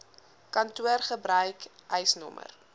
kantoor gebruik eisnr